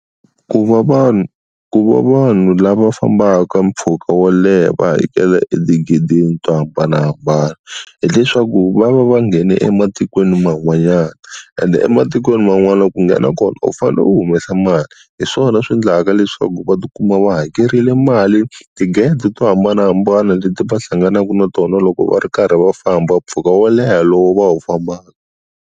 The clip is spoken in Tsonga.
Ku va vanhu ku va vanhu lava fambaka mpfhuka wo leha va hakela etigedeni to hambanahambana hileswaku va va va nghene ematikweni man'wanyana ende ematikweni man'wana ku nghena kona u fane u humesa mali, hi swona swi endlaka leswaku va ti kuma wa hakerile mali tigede to hambanahambana leti va hlanganaka na tona loko va ri karhi va famba mpfhuka wo leha lowu va wu fambaka.